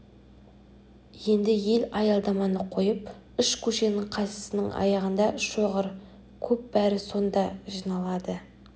енді ел аялдаманы қойып үш көшенің қайсысының аяғында шоғыр көп бәрі сонда жиналады